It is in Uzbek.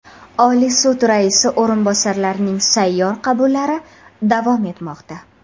Oliy sud raisi o‘rinbosarlarining sayyor qabullari davom etmoqda.